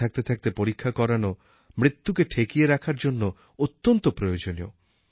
সময় থাকতে থাকতে পরীক্ষা করানো মৃত্যুকে ঠেকিয়ে রাখার জন্য অত্যন্ত প্রয়োজনীয়